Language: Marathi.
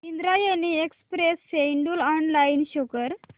Indrayani express schedule online show कर